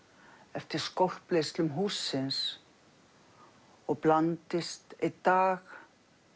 eftir hússins og blandist einn dag